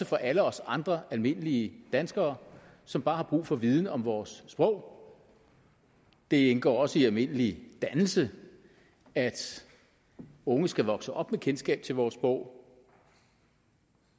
for alle os andre almindelige danskere som bare har brug for viden om vores sprog det indgår også i almindelig dannelse at unge skal vokse op med kendskab til vores sprog